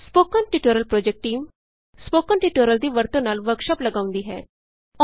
spoken tutorial project team spoken tutorial ਦੀ ਵਰਤੋਂ ਨਾਲ ਵਰਕਸ਼ਾਪ ਲਗਾਉਂਦੀ ਹੈ